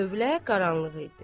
Tövlə qaranlıq idi.